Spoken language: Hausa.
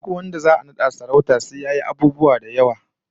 Duk wanda za'a nada sarauta sai yayi abubuwa da yawa, kamar neman doki